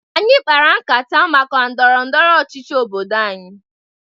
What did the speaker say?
Anyị kpara nkata maka ndọrọ ndọrọ ọchịchị obodo anyị.